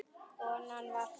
Konan var frá